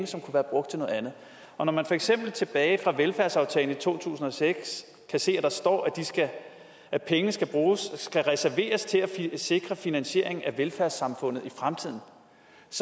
som kunne være brugt til noget andet og når man for eksempel tilbage fra velfærdsaftalen i to tusind og seks kan se at der står at pengene skal reserveres til at sikre finansieringen af velfærdssamfundet i fremtiden så